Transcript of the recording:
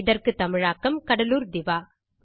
இதற்கு தமிழாக்கம் கடலூர் திவா